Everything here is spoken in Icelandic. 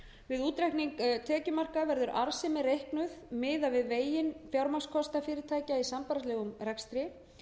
við útreikning tekjumarka verður arðsemi reiknuð miðað við veginn fjármagnskostnað fyrirtækja sambærilegum rekstri